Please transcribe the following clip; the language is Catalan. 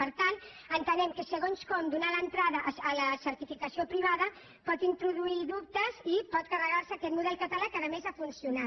per tant entenem que segons com donar entrada a la certificació privada pot introduir dubtes i pot carregar se aquest model català que a més ha funcionat